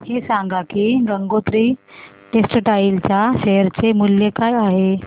हे सांगा की गंगोत्री टेक्स्टाइल च्या शेअर चे मूल्य काय आहे